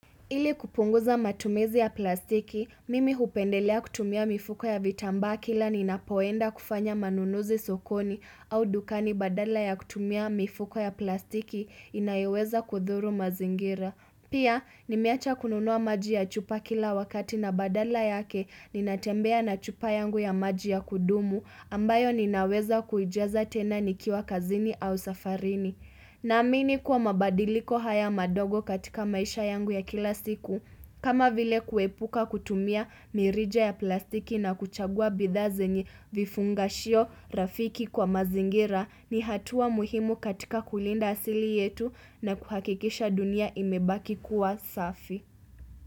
Ili kupunguza matumizi ya plastiki, mimi hupendelea kutumia mifuko ya vitamba kila ninapowenda kufanya manunuzi sokoni au dukani badala ya kutumia mifuko ya plastiki inayoweza kudhuru mazingira. Pia, nimeacha kununua maji ya chupa kila wakati na badala yake ninatembea na chupa yangu ya maji ya kudumu ambayo ninaweza kuijaza tena nikiwa kazini au safarini. Na amini kuwa mabadiliko haya madogo katika maisha yangu ya kila siku, kama vile kuepuka kutumia mirija ya plastiki na kuchagua bidha zenye vifungashio rafiki kwa mazingira ni hatua muhimu katika kulinda asili yetu na kuhakikisha dunia imebaki kuwa safi.